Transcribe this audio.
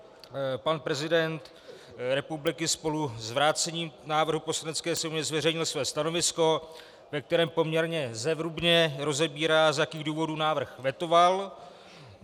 Pan prezident republiky spolu s vrácením návrhu Poslanecké sněmovně zveřejnil své stanovisko, ve kterém poměrně zevrubně rozebírá, z jakých důvodů návrh vetoval.